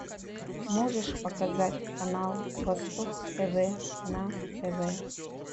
можешь показать канал восток тв на тв